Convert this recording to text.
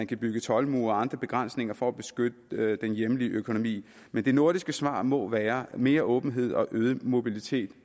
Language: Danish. kan bygges toldmure og andre begrænsninger for at beskytte den hjemlige økonomi men det nordiske svar må være mere åbenhed og øget mobilitet